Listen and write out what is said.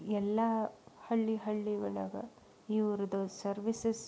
ಎಲ್ಲ ಹಳ್ಳಿ ಹಳ್ಳಿಯೊಳಗೆ ಇವರದು ಸರ್ವಿಸಸ್ --